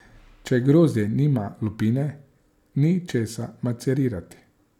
Če grozdje nima lupine, ni česa macerirati.